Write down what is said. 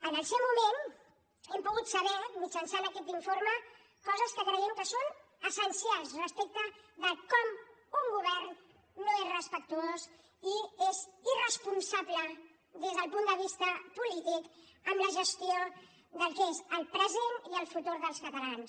en el seu moment hem pogut saber mitjançant aquest informe coses que creiem que són essencials respecte de com un govern no és respectuós i és irresponsable des del punt de vista polític amb la gestió del que és el present i el futur dels catalans